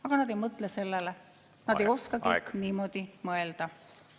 Aga nad ei mõtle sellele, nad ei oskagi niimoodi mõelda.